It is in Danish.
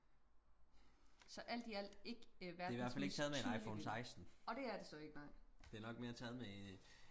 så alt i alt ikke verdens mest tydelige billede og det er det så ikke nej